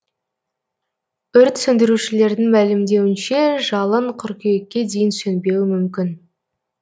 өрт сөндірушілердің мәлімдеуінше жалын қыркүйекке дейін сөнбеуі мүмкін